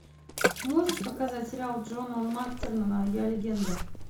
можешь показать сериал джона мактирнана я легенда